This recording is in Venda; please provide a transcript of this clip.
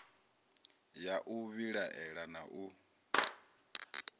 ya u vhilaela na u